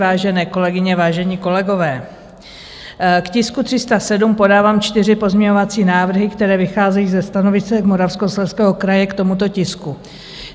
Vážené kolegyně, vážení kolegové, k tisku 307 podávám čtyři pozměňovací návrhy, které vycházejí ze stanovisek Moravskoslezského kraje k tomuto tisku.